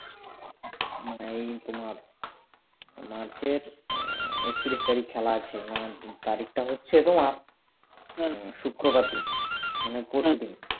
এই তোমার march এর একত্রিশ তারিখ খেলা আছে তারিখটা হচ্ছে তোমার শুক্রবার দিন মানে পরশুদিন